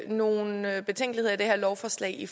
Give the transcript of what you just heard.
nogle betænkeligheder ved det her lovforslag